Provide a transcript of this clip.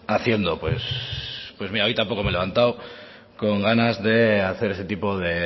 haciendo pues mira hoy tampoco me he levantado con ganas de hacer ese tipo de